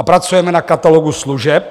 A pracujeme na Katalogu služeb.